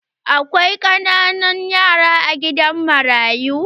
Akwai ƙananan yara a gidan marayu.